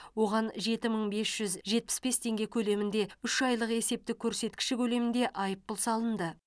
оған жеті мың бес жүз жетпіс бес теңге көлемінде үш айлық есептік көрсеткіші көлемінде айыппұл салынды